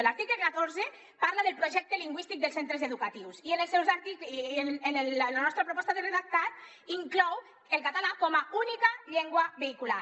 l’article catorze parla del projecte lingüístic dels centres educatius i la nostra proposta de redactat inclou el català com a única llengua vehicular